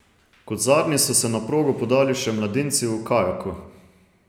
Kot zadnji so se na progo podali še mladinci v kajaku.